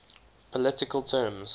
political terms